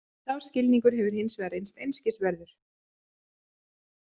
Sá skilningur hefur hins vegar reynst einskis verður.